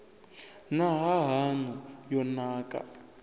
na ha haṋu yo nakaho